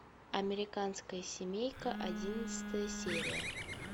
американская семейка одиннадцатая серия